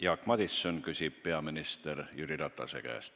Jaak Madison küsib küsimuse peaminister Jüri Ratase käest.